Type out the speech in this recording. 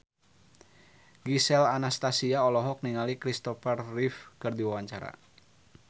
Gisel Anastasia olohok ningali Kristopher Reeve keur diwawancara